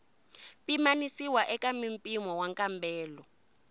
pimanisiwa eka mimpimo wa nkambelo